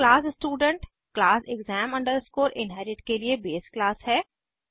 और class student class exam inherit के लिए बेस क्लास है